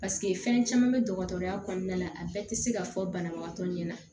paseke fɛn caman be dɔgɔtɔrɔya kɔnɔna la a bɛɛ ti se ka fɔ banabagatɔ ɲɛna